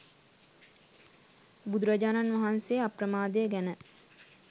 බුදුරජාණන් වහන්සේ අප්‍රමාදය ගැන